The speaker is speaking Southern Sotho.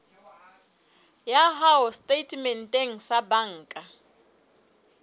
ya hao setatementeng sa banka